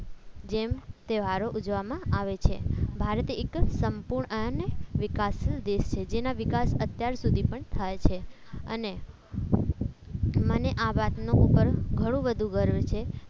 જેમ તહેવારો ઉજવવામાં આવે છે ભારતે એક સંપૂર્ણ ને વિકાસશીલ દેશ છે જેનો વિકાસ અત્યાર સુધી પણ થાય છે અન આવા મને આ વાતનો ગર્વ ઘણું બધું ગર્વ છે